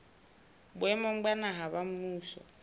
boemong ba naha ba mmuso